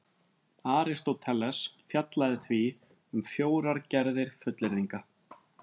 Aristóteles fjallaði því um fjórar gerðir fullyrðinga: